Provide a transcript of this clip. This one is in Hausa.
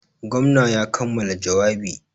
Gwamna ya kammala jawabi.